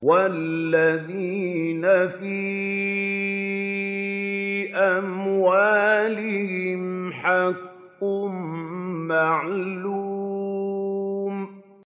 وَالَّذِينَ فِي أَمْوَالِهِمْ حَقٌّ مَّعْلُومٌ